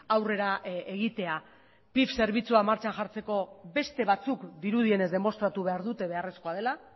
aurrera egitea pif zerbitzua martxan jartzeko beste batzuk dirudienez demostratu behar dute beharrezkoa dela